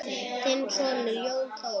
Þinn sonur, Jón Þór.